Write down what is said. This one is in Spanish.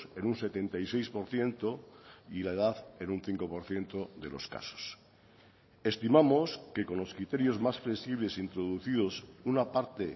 en un setenta y seis por ciento y la edad en un cinco por ciento de los casos estimamos que con los criterios más flexibles introducidos una parte